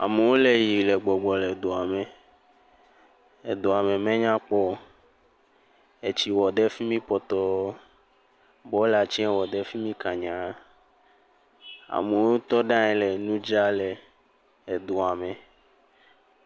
Amewo le yiyi le gbɔgbɔ le dua me. Edua me menya kpɔ o. Etsi wɔ ɖe fi mi pɔtɔɔ. Bɔla tsɛ wɔ ɖe fi mi kanyaaa. Amewo tɔ ɖe anyi le nu dzra le edua me.